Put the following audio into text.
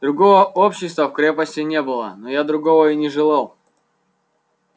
другого общества в крепости не было но я другого и не желал